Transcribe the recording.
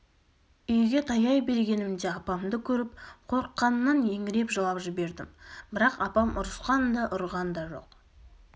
үйге таяй бергенімде апамды көріп қорыққанымнан еңіреп жылап жібердім бірақ апам ұрысқан да ұрған да жоқ